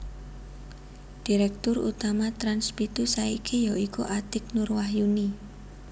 Direktur Utama Trans pitu saiki ya iku Atiek Nur Wahyuni